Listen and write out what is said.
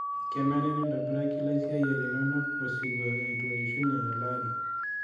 Kenare nintobiraki laisiyiak linono osirua eitu eishunye elaari.